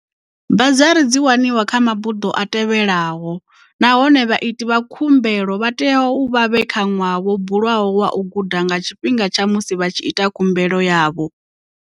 Bazari dzi waniwa kha mabuḓo a tevhelaho na hone vhaiti vha khumbelo vha tea uvha vhe kha ṅwaha wo bulwaho wa u guda nga tshifhinga tsha musi vha tshi ita khumbelo yavho.